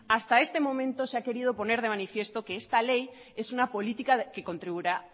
hasta este momento se ha querido poner de manifiesto que esta ley es una política